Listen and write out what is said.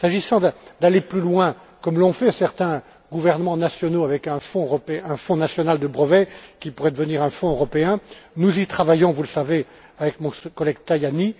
S'agissant d'aller plus loin, comme l'ont fait certains gouvernements nationaux, avec un fonds national pour les brevets, qui pourrait devenir un fonds européen, nous y travaillons, vous le savez, avec mon collègue Tajani.